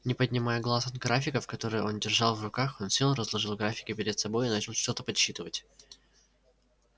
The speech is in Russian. не поднимая глаз от графиков которые он держал в руках он сел разложил графики перед собой и начал что-то подсчитывать